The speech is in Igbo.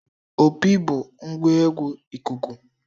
Opi bụ ngwa egwu ikuku.